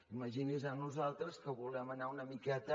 imagini’s a nosaltres que volem anar una miqueta